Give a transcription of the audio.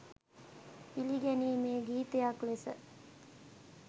පිළිගැනීමේ ගීතයක් ලෙස.